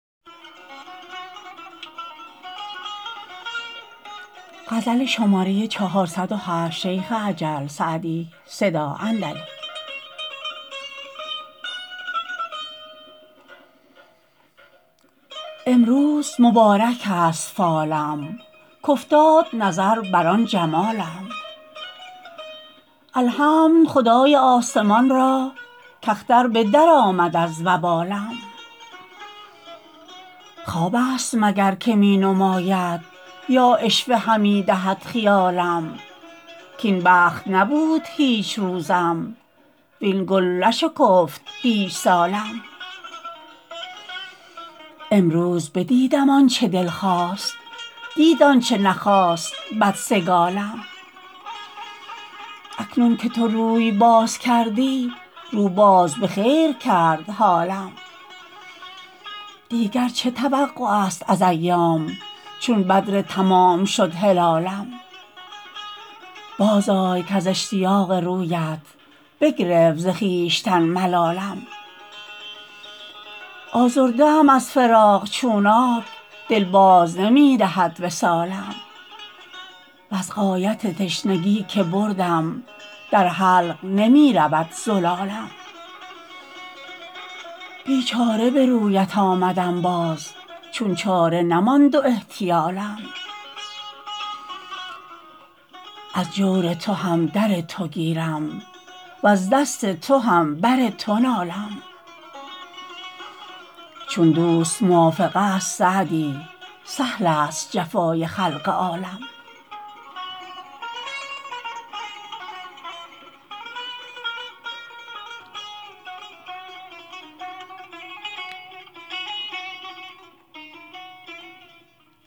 امروز مبارک است فالم کافتاد نظر بر آن جمالم الحمد خدای آسمان را کاختر به درآمد از وبالم خواب است مگر که می نماید یا عشوه همی دهد خیالم کاین بخت نبود هیچ روزم وین گل نشکفت هیچ سالم امروز بدیدم آن چه دل خواست دید آن چه نخواست بدسگالم اکنون که تو روی باز کردی رو باز به خیر کرد حالم دیگر چه توقع است از ایام چون بدر تمام شد هلالم بازآی کز اشتیاق رویت بگرفت ز خویشتن ملالم آزرده ام از فراق چونانک دل باز نمی دهد وصالم وز غایت تشنگی که بردم در حلق نمی رود زلالم بیچاره به رویت آمدم باز چون چاره نماند و احتیالم از جور تو هم در تو گیرم وز دست تو هم بر تو نالم چون دوست موافق است سعدی سهل است جفای خلق عالم